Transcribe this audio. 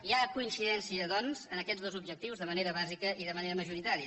hi ha coincidència doncs en aquests dos objectius de manera bàsica i de manera majoritària